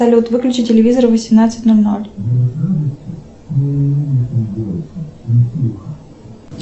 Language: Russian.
салют выключи телевизор в восемнадцать ноль ноль